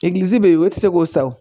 Egilizi be yen o ti se k'o sa o